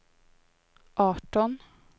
arton